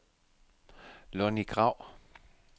Lonnie Grau